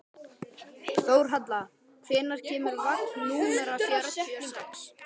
Þórhalla, hvenær kemur vagn númer fjörutíu og sex?